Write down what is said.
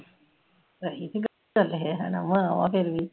ਸਹੀ ਸੀ ਗੱਲ ਚਲ ਮਾਂ ਆ ਉਹ ਫਿਰ ਵੀ